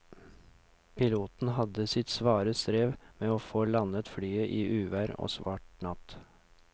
Piloten hadde sitt svare strev med å få landet flyet i uvær og svart natt.